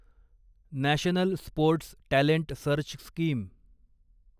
national sports talent search scheme